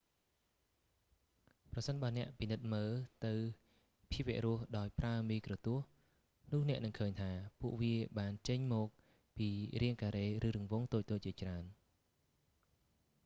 ប្រសិនបើអ្នកពិនិត្យមើលទៅភាវរស់ដោយប្រើមីក្រូទស្សន៍ នោះអ្នកនឹងឃើញថា ពួកវាបានចេញមកពីរាងការ៉េ ឬរង្វង់តូចៗជាច្រើន